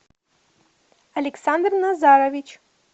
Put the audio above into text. александр назарович